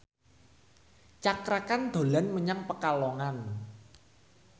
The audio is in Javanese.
Cakra Khan dolan menyang Pekalongan